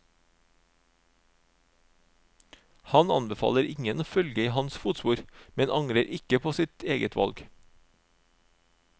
Han anbefaler ingen å følge i hans fotspor, men angrer ikke på sitt eget valg.